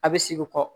A bɛ segin kɔ